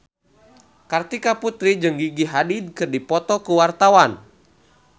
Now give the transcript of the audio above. Kartika Putri jeung Gigi Hadid keur dipoto ku wartawan